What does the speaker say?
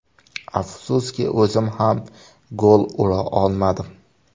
Afsuski o‘zim ham gol ura olmadim.